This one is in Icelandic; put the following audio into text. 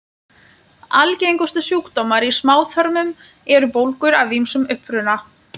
Algengustu sjúkdómar í smáþörmum eru bólgur af ýmsum uppruna.